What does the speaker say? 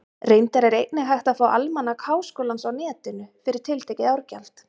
Reyndar er einnig hægt að fá Almanak Háskólans á Netinu, fyrir tiltekið árgjald.